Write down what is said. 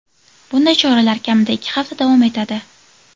Bunday choralar kamida ikki hafta davom etadi.